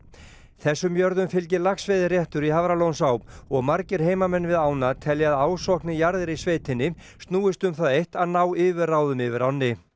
þessum jörðum fylgir í Hafralónsá og margir heimamenn við ána telja að ásókn í jarðir í sveitinni snúist um það eitt að ná yfirráðum yfir ánni